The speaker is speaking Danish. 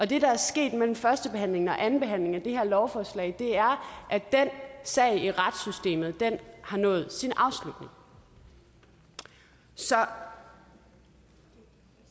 det der er sket imellem førstebehandlingen og andenbehandlingen af det her lovforslag er at den sag i retssystemet har nået sin afslutning så